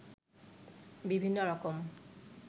বিভিন্ন রকম